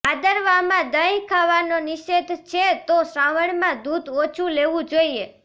ભાદરવામાં દહીં ખાવાનો નિષેધ છે તો શ્રાવણમાં દૂધ ઓછુ લેવુ જોઇએ